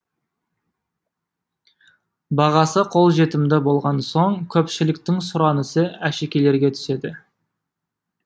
бағасы қолжетімді болған соң көпшіліктің сұранысы әшекейлерге түседі